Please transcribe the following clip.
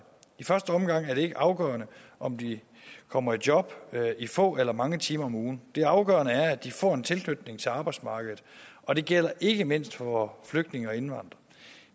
i første omgang er det ikke afgørende om de kommer i job i få eller mange timer om ugen det afgørende er at de får en tilknytning til arbejdsmarkedet og det gælder ikke mindst for flygtninge og indvandrere